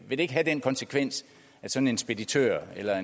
ikke have den konsekvens at sådan en speditør eller